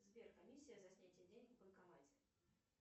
сбер комиссия за снятие денег в банкомате